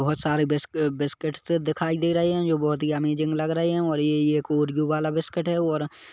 बहुत सारे बिस्क- बिस्किट दिखाई दे रहे हैं जो बहुत ही अमेजिंग लग रहे हैं और ये ये एक ओरयो वाला बिस्किट है और --